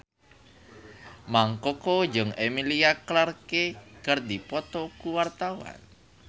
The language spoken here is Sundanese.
Mang Koko jeung Emilia Clarke keur dipoto ku wartawan